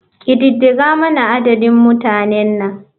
Ƙididdigar mana adadin mutanan nan.